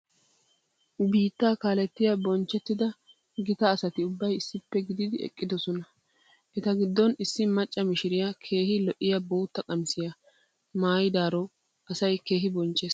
Biittaa kaalettiya bonchchettida gita asati ubbay issippe gididi eqqidosona. Eta giddon issi macca mishiriya keehi lo'iya bootta qamisiya maayidaaro asay keehi bonchchees.